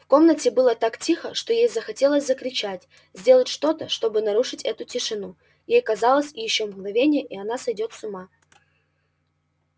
в комнате было так тихо что ей захотелось закричать сделать что-то чтобы нарушить эту тишину ей казалось ещё мгновение и она сойдёт с ума